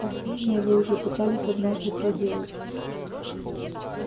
последнее вы уже пытались однажды проделать